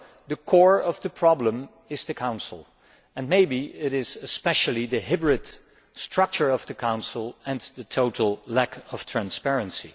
The core of the problem is the Council and maybe especially the hybrid structure of the Council and the total lack of transparency.